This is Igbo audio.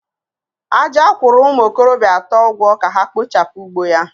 Aja ugwo umu okorobia ato ka ha kpochapu ugbo ya.